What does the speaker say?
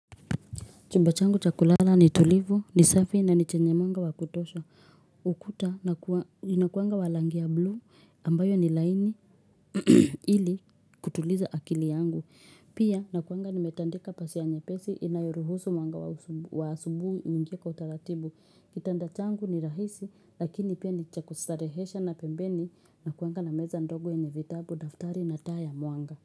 Chumba changu cha kulala ni tulivu, ni safi na ni chenye mwanga wa kutosha. Ukuta inakuanga wa rangi ya blue ambayo ni laini ili kutuliza akili yangu. Pia nakuanga nimetandika pazia nyepesi inayoruhusu mwanga wa asubuhi uingie kwa utaratibu. Kitanda changu ni rahisi lakini pia ni cha kustarehesha na pembeni nakuanga na meza ndogo yenye vitabu daftari na taa ya mwanga.